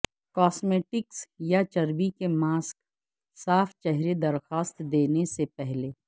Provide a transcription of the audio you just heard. cosmetics یا چربی کے ماسک صاف چہرہ درخواست دینے سے پہلے